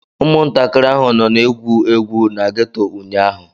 Ụmụntakịrị ahụ nọ na-egwu egwu na geto ụnyaahụ.